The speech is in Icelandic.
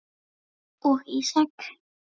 og Ísak.